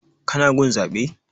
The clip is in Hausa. Ka na gun zaɓe?